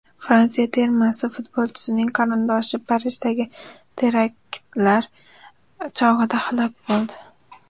Fransiya termasi futbolchisining qarindoshi Parijdagi teraktlar chog‘ida halok bo‘ldi.